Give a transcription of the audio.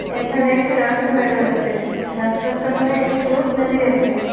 এখানে একটি রাস্তা দেখা যাচ্চে রাস্তার সামনে একটি লোক দাঁড়িয়ে আছে।